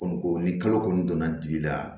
Kɔni ni kalo kɔni donna digi la